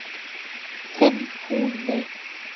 Þinn Húni.